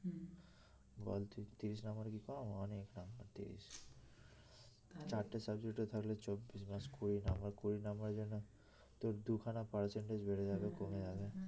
বল তুই তিরিশ নাম্বার কি কম অনেক নাম্বার তিরিশ চারটে subject এ তাহলে চব্বিশ plus কুড়ি নাম্বার কুড়ি নাম্বারের জন্য তোর দুখানা percentage বেড়ে যাবে কমে যাবে